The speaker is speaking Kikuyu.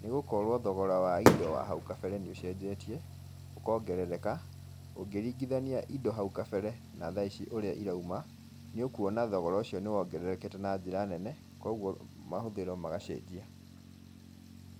nĩ gũkorwo thogora wa indo wa hau kabere nĩ ũcenjetie, ũkongerereka, ũngĩringithania indo hau kabere na tha-ici ũrĩa irauma, nĩ ũkuona thogora ũcio nĩ wongererekete na njĩra nene, koguo mahũthĩro magacenjia.